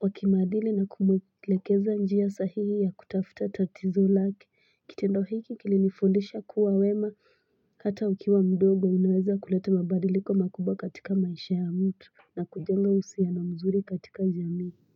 wa kimaadili na kumwelekeza njia sahihi ya kutafuta tatizo lake kitendo hiki kilinifundisha kuwa wema kata ukiwa mdogo unaweza kuleta mabadiliko makubwa katika maisha ya mtu na kujenga uhusiano mzuri katika jamii.